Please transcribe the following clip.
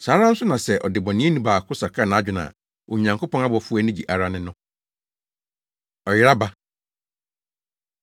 Saa ara nso na sɛ ɔdebɔneyɛni baako sakra nʼadwene a, Onyankopɔn abɔfo ani gye ara ne no.” Ɔyera Ba